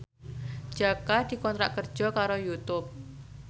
Jaka dikontrak kerja karo Youtube